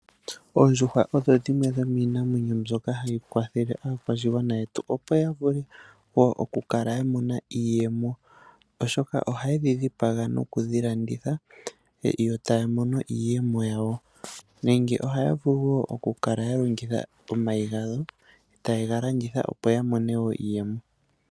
Oondjuhwa odho dhimwe dhomiimamwenyo mbyoka hayi kwathele aakwashigwana yetu oshoka ohaye dhilanditha etaya mono iiyemo nenge yalandithe omayi etaya mono iiyemo.